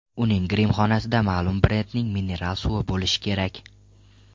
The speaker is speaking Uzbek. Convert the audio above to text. Uning grimxonasida ma’lum brendning mineral suvi bo‘lishi kerak.